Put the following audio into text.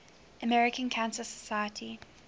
american cancer society